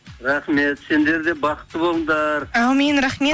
рахмет сендер де бақытты болыңдар әумин рахмет